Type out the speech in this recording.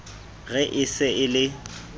re e se e le